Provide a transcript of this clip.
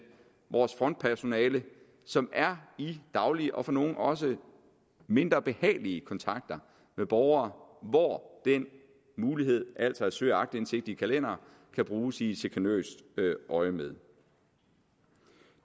vores frontpersonale som er i daglig og for nogle også mindre behagelig kontakt med borgere hvor den mulighed altså at søge aktindsigt i kalendere kan bruges i et chikanøst øjemed